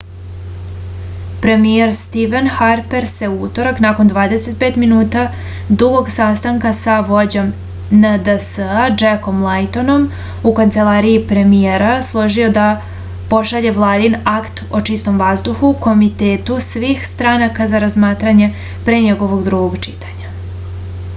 premijer stiven harper se u utorak nakon 25 minuta dugog sastanka sa vođom nds-a džekom lajtonom u kancelariji premijera složio da pošalje vladin akt o čistom vazduhu komitetu svih stranaka na razmatranje pre njegovog drugog čitanja